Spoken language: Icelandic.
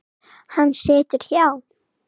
Hann situr hjá